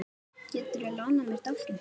Geturðu lánað mér dálkinn þinn?